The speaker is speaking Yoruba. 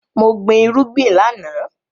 Mo gbin irúgbìn láàná